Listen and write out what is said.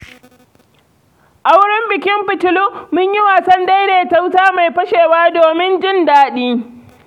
A wurin bikin fitilu, mun yi wasan daidaita wuta mai fashewa, domin jin daɗi.